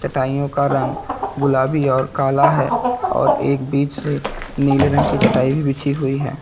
टाइयों का रंग गुलाबी और काला है और एक बीच से नीले रंग की चटाई भी बिछी हुई है।